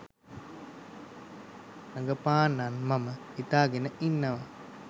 රඟපාන්නත් මම හිතාගෙන ඉන්නවා